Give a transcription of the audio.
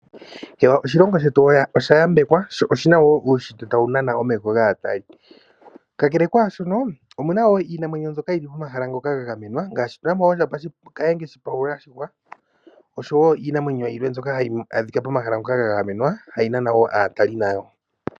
Oshilongo shetu oshayambekwa sho oshina wo uushitwe tawu nana omeho gaatali, kakele kwashono omuna wo iinamwenyo mbyoka yili pomahala ngoka ga gamenwa ngaashi tuna mo oondjamba kahenge shipaula yashihwa osho wo iinamwenyo yilwe mbyoka hayi adhika pomahala ngoka ga gamenwa hayi nana wo aatali nayo.